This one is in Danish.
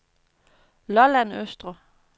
Lolland Østre